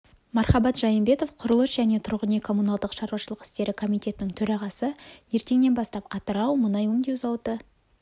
мархабат жайымбетов құрылыс және тұрғын үй-коммуналдық шаруашылық істері комитетінің төрағасы ертеңнен бастап атырау мұнай өңдеу зауыты